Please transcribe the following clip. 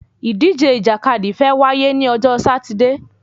Ìdíje ìjàkadì fe wá yé ni ojo Sátidé